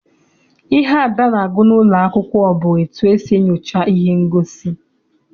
Ihe Ada na-agụ n'ụlọ akwụkwọ bụ etu esi enyocha ihe ngosi.